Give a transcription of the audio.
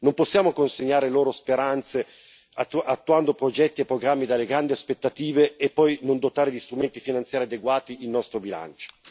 non possiamo consegnare loro speranze, attuando progetti e programmi dalle grandi aspettative, e poi non dotare di strumenti finanziari adeguati il nostro bilancio.